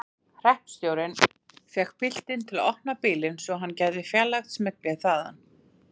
Hreppstjórinn fékk piltinn til að opna bílinn svo hann gæti fjarlægt smyglið þaðan.